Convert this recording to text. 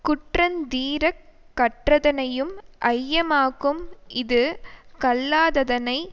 குற்றந்தீரக் கற்றதனையும் ஐயமாக்கும் இது கல்லாததனை